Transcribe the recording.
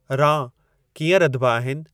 रां कीअं रधिबा आहिनि